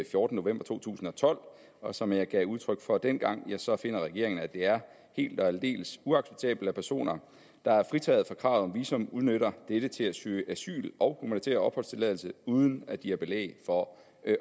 fjortende november to tusind og tolv og som jeg gav udtryk for dengang ja så finder regeringen at det er helt og aldeles uacceptabelt at personer der er fritaget fra kravet om visum udnytter dette til at søge asyl og humanitær opholdstilladelse uden at de har belæg for